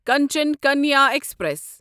Kanchan Kanya express